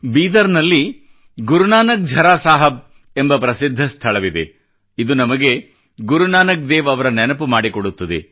ಬೀದರ್ ನಲ್ಲಿ ಗುರುನಾನಕ್ ಝರಾ ಸಾಹಬ್ ಎಂಬ ಪ್ರಸಿದ್ಧ ಸ್ಥಳವಿದೆ ಇದು ನಮಗೆ ಗುರುನಾನಕ್ ದೇವ್ ಅವರ ನೆನಪು ಮಾಡಿಕೊಡುತ್ತದೆ